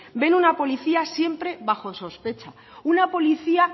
ven una policía siempre bajo sospecha una policía